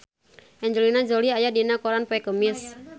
Angelina Jolie aya dina koran poe Kemis